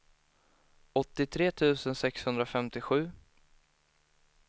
åttiotre tusen sexhundrafemtiosju